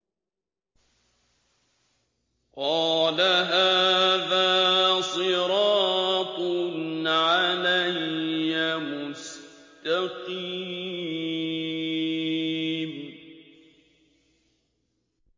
قَالَ هَٰذَا صِرَاطٌ عَلَيَّ مُسْتَقِيمٌ